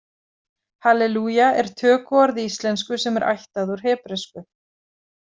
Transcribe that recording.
Halelúja er tökuorð í íslensku sem er ættað úr hebresku.